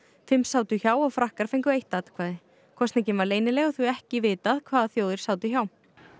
fimm sátu hjá og Frakkar fengu eitt atkvæði kosningin var leynileg og því ekki vitað hvaða þjóðir sátu hjá